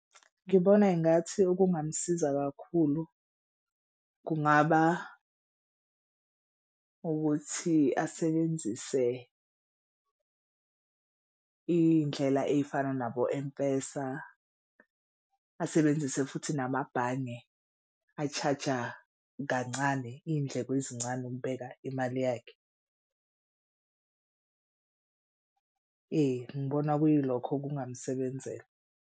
Ngibona engathi okungamsiza kakhulu kungaba ukuthi asebenzise iy'ndlela ey'fana nabo-M_PESA asebenzise futhi namabhange a-charge-a kancane iy'ndleko ezincane ukubeka imali yakhe. Ngibona kuyilokho kungamsebenzela.